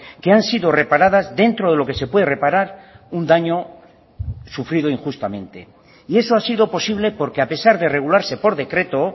que han sido reparadas dentro de lo que se puede reparar un daño sufrido injustamente y eso ha sido posible porque a pesar de regularse por decreto